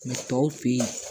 Mɛ tɔw fen ye